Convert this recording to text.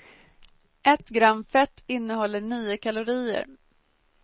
Ett gram fett innehåller nio kalorier.